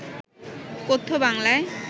কথ্য বাংলায়